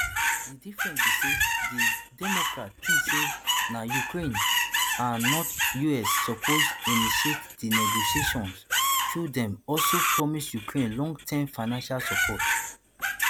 di difference be say di democrats think say na ukraine and not us suppose initiate di negotiations although dem also promise ukraine longterm financial support